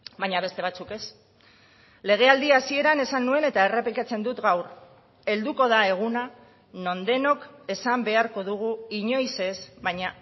baina beste batzuk ez legealdi hasieran esan nuen eta errepikatzen dut gaur helduko da eguna non denok esan beharko dugu inoiz ez baina